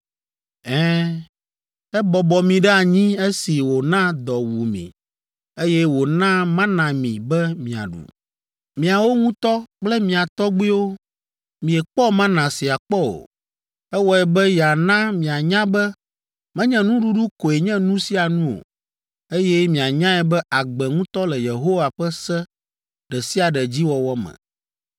Ɛ̃, ebɔbɔ mi ɖe anyi esi wòna dɔ wu mi, eye wòna mana mi be miaɖu. Miawo ŋutɔ kple mia tɔgbuiwo miekpɔ mana sia kpɔ o. Ewɔe be yeana mianya be menye nuɖuɖu koe nye nu sia nu o, eye mianyae be agbe ŋutɔ le Yehowa ƒe se ɖe sia ɖe dzi wɔwɔ me.